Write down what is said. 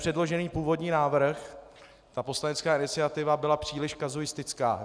Předložený původní návrh, ta poslanecká iniciativa byla příliš kazuistická.